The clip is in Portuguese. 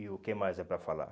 E o que mais é para falar?